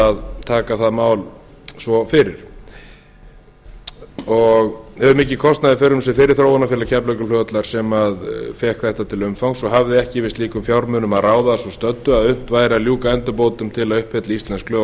að taka það mál svo fyrir og hefur mikinn kostnað í för með sér fyrir þróunarfélag keflavíkurflugvallar sem fékk þetta til umfangs og hafði ekki yfir slíkum fjármunum að ráða að svo stöddu að unnt væri að ljúka endurbótum til að uppfylla íslensk lög og